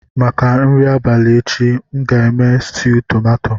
Maka nri abalị echi, m ga-eme stuu tomato.